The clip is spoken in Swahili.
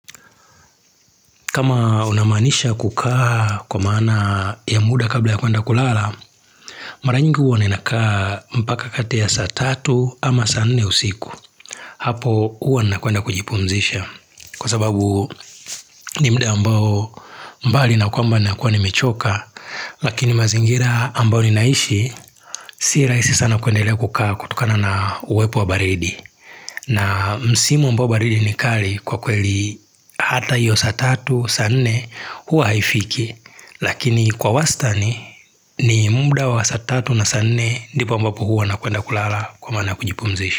Kama unamaanisha kukaa kwa maana ya muda kabla ya kuenda kulala, maranyingi uwa ninakaa mpaka katea saa tatu ama saane usiku. Hapo uwa nakuenda kujipumzisha. Kwa sababu nimuda ambao mbali na kwamba nakuwa nimechoka, lakini mazingira ambao ninaishi, si rahisi sana kuendelea kukaa kutokana na uwepo wa baridi. Na msimu ambao baridi ni kali kwa kweli hata hiyo saa tatu, saa nne huwa haifiki Lakini kwa wasitani ni muda wa saa tatu na sa nne ndipo ambapo huwa na kuenda kulala kwa maana kujipumzishi.